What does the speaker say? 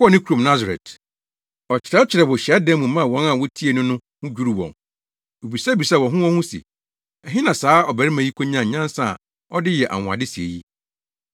Ɔkɔɔ ne kurom Nasaret. Ɔkyerɛkyerɛɛ wɔ hyiadan mu maa wɔn a wotiee no no ho dwiriw wɔn. Wobisabisaa wɔn ho wɔn ho se, “Ɛhe na saa ɔbarima yi konyaa nyansa a ɔde yɛ anwonwade sɛɛ yi?